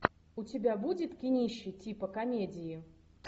у тебя будет кинище типа комедии